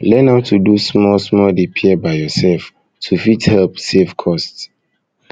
learn how to do small small repair by yourself to fit help save cost